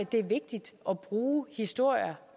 det er vigtigt at bruge historier